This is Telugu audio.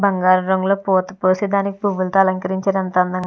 బంగారంలో పూత పూసి దానికి పువ్వులతో అలంకరించినంత అందంగా --